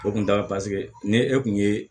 O kun t'a la paseke ni e kun ye